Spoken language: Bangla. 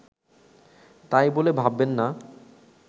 তাই বলে ভাববেন না